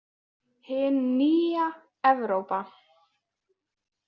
Hin nýja Evrópa!